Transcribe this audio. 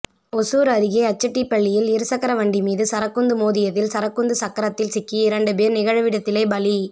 ஒசூர் அருகே அச்செட்டிப்பள்ளியில் இருசக்கர வண்டி மீது சரக்குந்து மோதியதில் சரக்குந்து சக்கரத்தில் சிக்கி இரண்டு பேர் நிகழ்விடத்திலே பலி